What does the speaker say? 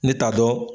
Ne t'a dɔn